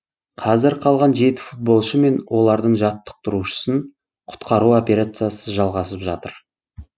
қазір қалған жеті футболшы мен олардың жаттықтырушысын құтқару операциясы жалғасып жатыр